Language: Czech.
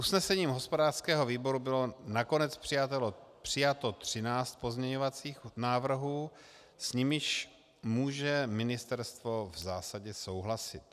Usnesením hospodářského výboru bylo nakonec přijato 13 pozměňovacích návrhů, s nimiž může ministerstvo v zásadě souhlasit.